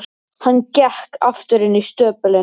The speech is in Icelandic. Hann gekk aftur inn í stöpulinn.